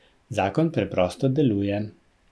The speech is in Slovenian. Zakon preprosto deluje.